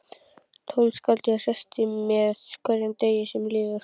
Tónskáldið hressist með hverjum degi sem líður.